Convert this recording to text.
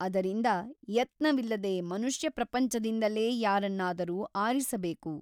ಅದರಿಂದ ಯತ್ನವಿಲ್ಲದೆ ಮನುಷ್ಯಪ್ರಪಂಚದಿಂದಲೇ ಯಾರನ್ನಾದರೂ ಆರಿಸಬೇಕು.